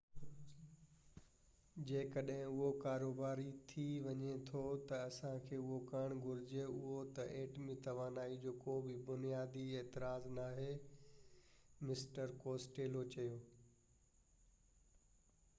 جيڪڏهن اهو ڪاروباري ٿي وڃي ٿو ته اسان کي اهو ڪرڻ گهرجي اهو ته ايٽمي توانائي جو ڪو به بنيادي اعتراض ناهي مسٽر ڪوسٽيلو چيو